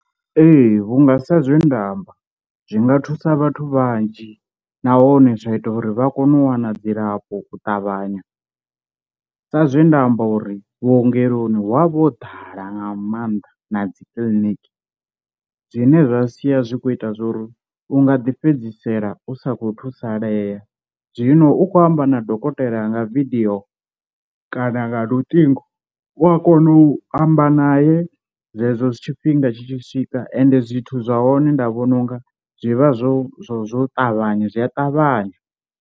Ee vhunga sa zwe nda amba zwinga thusa vhathu vhanzhi nahone zwa ita uri vha kone u wana dzilafho u ṱavhanya, sa zwe nda amba uri vhuongeloni hu avha ho ḓala nga maanḓa na dzi kiḽiniki zwine zwa sia zwi kho ita zwo ri u nga ḓi fhedzisela u sa khou thusalea. Zwino u khou amba na dokotela nga video kana nga luṱingo u a kona u amba naye zwezwo zwi tshifhinga tshi tshi swika ende zwithu zwa hone nda vhona unga zwivha zwo zwo zwo ṱavhanya zwi a ṱavhanya.